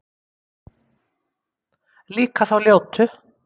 Líka þá ljótu